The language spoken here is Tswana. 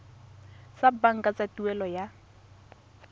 tsa banka tsa tuelo ya